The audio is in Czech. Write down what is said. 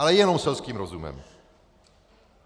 Ale jenom selským rozumem.